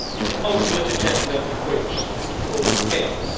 The ultimate agenda of which is to cause chaos.